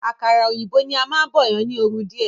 Àkàrà òyìnbó ni a máún bọ̀yan ni oru díè.